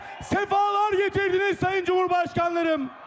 Səfalar gətirdiniz, Sayın Cümhurbaşqanım!